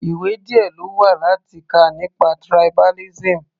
Ìwé díẹ̀ lówà láti kà nípa tribalism.